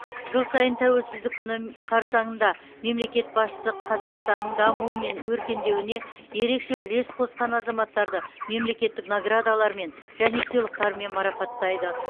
жыл сайын тәуелсіздік күні қарсаңында мемлекет басшысы қазақстанның дамуы мен өркендеуіне ерекше үлес қосқан азаматтарды мемлекеттік наградалармен және сыйлықтармен марапаттайды